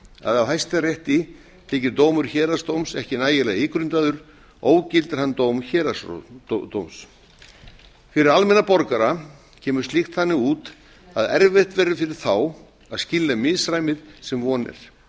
að ef hæstarétti þykir dómur héraðsdóms ekki nægilega ígrundaður ógildir hann dóm héraðsdóms fyrir almenna borgara kemur slíkt þannig út að erfitt verður fyrir þá að skilja misræmið sem von er